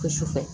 Ko sufɛ